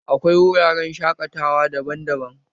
Akwai wuraren shaƙatawa daban-daban